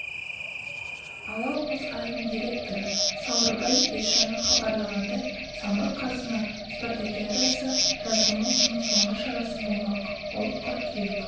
алау мұз айдынының директоры сауырбай есжанов хабарлағандай самұрық-қазына спартакиадасы жазғы маусымның соңғы шарасы болмақ ол қыркүйек